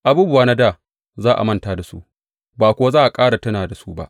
Abubuwa na dā za a manta da su, ba kuwa za a ƙara tuna da su ba.